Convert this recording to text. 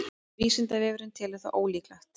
vísindavefurinn telur það ólíklegt